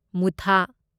ꯃꯨꯊꯥ